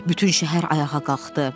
Bütün şəhər ayağa qalxdı.